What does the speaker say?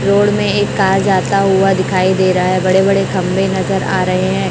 Road में एक car जाता हुआ दिखाई दे रहा है बड़े बड़े खंभे नजर आ रहे हैं।